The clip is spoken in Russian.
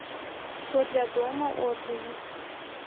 все для дома отзывы